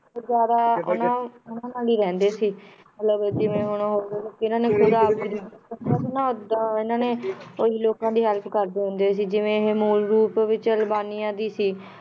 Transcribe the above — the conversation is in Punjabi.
ਫਿਰ ਜ਼ਿਆਦਾ ਉਹਨਾਂ ਉਹਨਾਂ ਨਾਲ ਹੀ ਰਹਿੰਦੇ ਸੀ, ਮਤਲਬ ਜਿਵੇਂ ਹੁਣ ਇਹਨਾਂ ਨੇ ਉਹੀ ਲੋਕਾਂ ਦੀ help ਕਰਦੇ ਹੁੰਦੇ ਸੀ ਜਿਵੇਂ ਇਹ ਮੂਲ ਰੂਪ ਵਿੱਚ ਅਲਬਾਨੀਆ ਦੀ ਸੀ